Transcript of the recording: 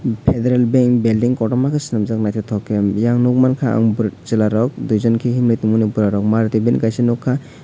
federal bank belding kotorma ke selamjak naitotok ke eyang nogmangka ang boroi chela rok duijon ke hinui tongmani bora rok maruti ban kaisa nogka.